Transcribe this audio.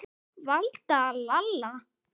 Valda, Lalla.